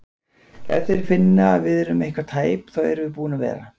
Ef þeir finna að við erum eitthvað tæp þá erum við búin að vera!